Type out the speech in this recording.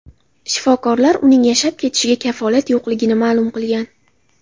Shifokorlar uning yashab ketishiga kafolat yo‘qligini ma’lum qilgan.